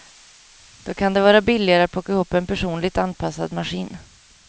Då kan det vara billigare att plocka ihop en personligt anpassad maskin.